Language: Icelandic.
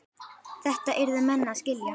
Þetta yrðu menn að skilja.